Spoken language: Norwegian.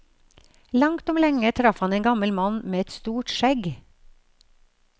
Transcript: Langt om lenge traff han en gammel mann med et stort skjegg.